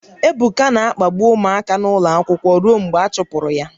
Ebuka na-akpagbu ụmụaka n'ụlọ akwụkwọ ruo mgbe a chụpụrụ ya